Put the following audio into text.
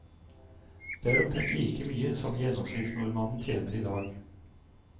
Det er omtrent like mye som gjennomsnittsnordmannen tjener i dag.